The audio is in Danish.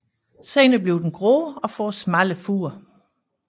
Senere bliver den grå og får smalle furer